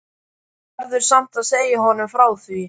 Verður samt að segja honum frá því.